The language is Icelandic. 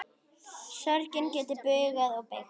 Sorgin getur bugað og beygt.